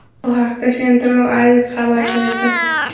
Bu haqda Central Asia xabar berdi .